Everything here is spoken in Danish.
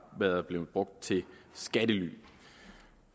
været brugt til skattely